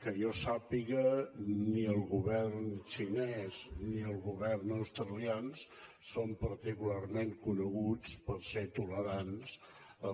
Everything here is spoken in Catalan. que jo sàpiga ni el govern xinès ni el govern australians són particularment co·neguts per ser tolerants